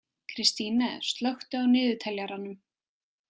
Kristine, slökku á niðurteljaranum.